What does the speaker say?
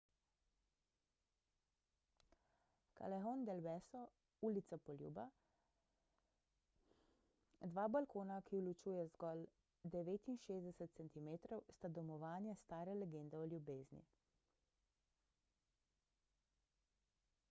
callejon del beso ulica poljuba. dva balkona ki ju ločuje zgolj 69 centimetrov sta domovanje stare legende o ljubezni